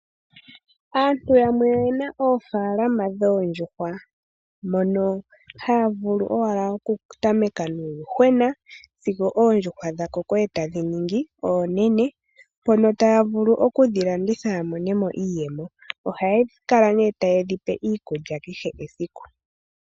Aantu yamwe oyena oofalaama dhoondjuhwa, mono haya vulu owala oku tameka nuuyuhwena, sigo oondjuhwa dha koko etadhi ningi oonene, mono taya vulu okudhi landitha ya monemo iiyemo. Ohaya kala nee taye dhi pe iikulya kehe esiku.